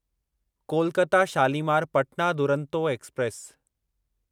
Kolkata Shalimar Patna Duronto express